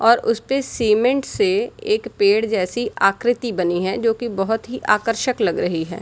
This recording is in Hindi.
और उसपे सीमेंट से एक पेड़ जैसी आकृति बनी है जो की बहुत आकर्षक लग रही है।